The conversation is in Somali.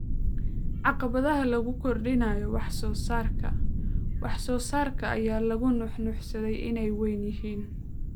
Caqabadaha lagu kordhinayo wax soo saarka wax soo saarka ayaa lagu nuuxnuuxsaday inay weyn yihiin.